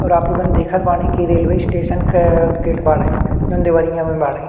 और आप लोगन देखत बाड़े कि रेलवे स्टेशन क गेट बाड़े जोन देवरिया में बाड़े।